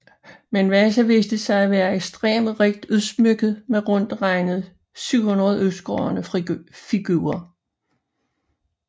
Men Vasa viste sig at være ekstremt rigt udsmykket med rundt regnet 700 udskårne figurer